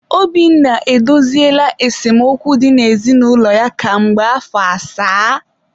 Obinna edoziela esemokwu dị n'ezinụlọ ya ka mgbe afọ asaa?